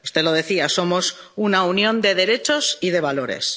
Usted lo decía somos una Unión de derechos y de valores.